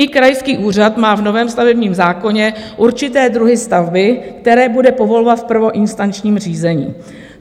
I krajský úřad má v novém stavebním zákoně určité druhy stavby, které bude povolovat v prvoinstančním řízení.